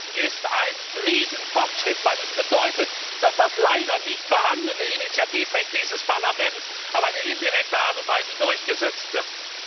Das ist ein Riesenfortschritt, weil es bedeutet, dass das leider nicht vorhandene Initiativrecht dieses Parlaments auf eine indirekte Art und Weise durchgesetzt wird.